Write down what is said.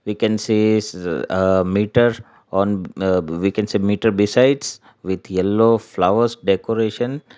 we can see s uh meter on uh we can see meter besides with yellow flowers decoration.